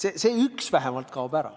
See üks vähemalt kaob ära.